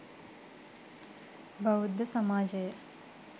බෞද්ධ සමාජය